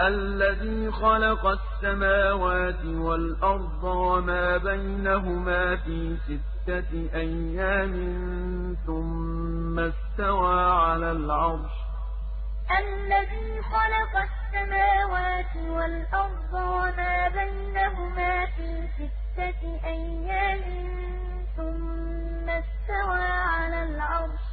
الَّذِي خَلَقَ السَّمَاوَاتِ وَالْأَرْضَ وَمَا بَيْنَهُمَا فِي سِتَّةِ أَيَّامٍ ثُمَّ اسْتَوَىٰ عَلَى الْعَرْشِ ۚ الرَّحْمَٰنُ فَاسْأَلْ بِهِ خَبِيرًا الَّذِي خَلَقَ السَّمَاوَاتِ وَالْأَرْضَ وَمَا بَيْنَهُمَا فِي سِتَّةِ أَيَّامٍ ثُمَّ اسْتَوَىٰ عَلَى الْعَرْشِ ۚ